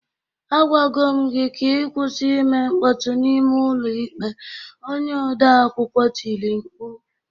"Agwago m gị ka ị kwụsị ime mkpọtụ n'ime ụlọ ikpe," onye odeakwụkwọ tiri mkpu